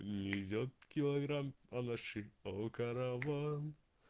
везёт килограмм анаши